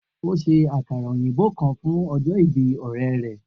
O ṣe akara oyinbo kan fun ọjọ ibi ọrẹ rẹ.